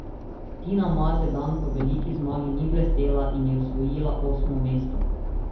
Tina Maze dan po veliki zmagi ni blestela in je osvojila osmo mesto.